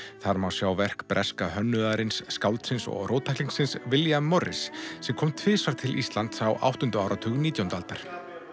þar má sjá verk breska hönnuðarins skáldsins og William sem kom tvisvar til Íslands á áttunda áratug nítjándu aldar